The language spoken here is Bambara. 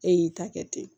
E y'i ta kɛ ten